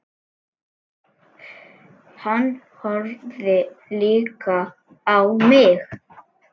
Hann horfði líka á mig.